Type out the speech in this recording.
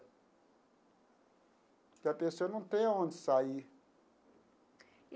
Porque a pessoa não tem aonde sair.